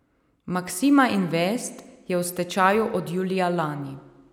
Maksima Invest je v stečaju od julija lani.